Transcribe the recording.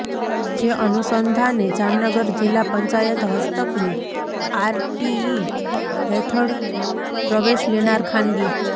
જે અનુસંધાને જામનગર જિલ્લા પંચાયત હસ્તકની આરટીઇ હેઠળ પ્રવેશ લેનાર ખાનગી